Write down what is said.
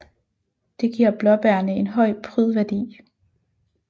Det giver blåbærene en høj prydværdi